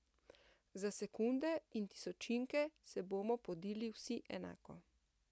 Za sekunde in tisočinke se bomo podili vsi enako.